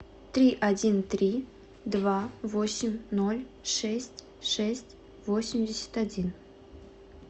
три один три два восемь ноль шесть шесть восемьдесят один